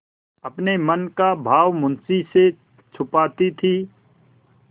अपने मन का भाव मुंशी से छिपाती थी